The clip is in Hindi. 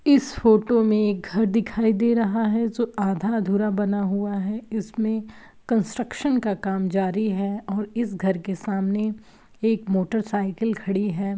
इस फोटो मे एक घर दिखाई दे रहा है जो आधा अधूरा बना हुआ है| इसमे कस्ट्रक्शन का काम जारी है और इस घर के सामने एक मोटरसाइकिल खड़ी है|